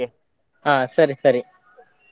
ಹಾ ಸರಿ ಸರಿ.